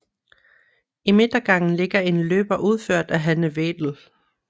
I midtergangen ligger en løber udført af Hanne Vedel